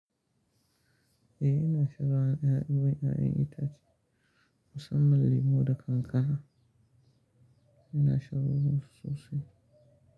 Eh ina shan ruwan ƴaƴan itace musamman lemo da kankana yana shan ruwan sosai.